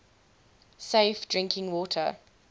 safe drinking water